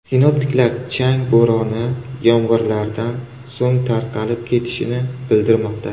Sinoptiklar chang bo‘roni yomg‘irlardan so‘ng tarqalib ketishini bildirmoqda.